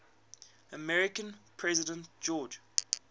american president george